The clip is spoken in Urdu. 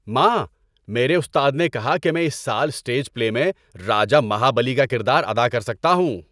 ماں، میرے استاد نے کہا کہ میں اس سال اسٹیج پلے میں راجا مہابلی کا کردار ادا کر سکتا ہوں۔